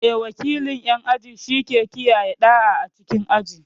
Eh, wakilin ƴan aji shike kiyaye ɗa'a a cikin aji.